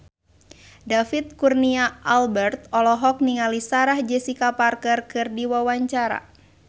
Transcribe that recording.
David Kurnia Albert olohok ningali Sarah Jessica Parker keur diwawancara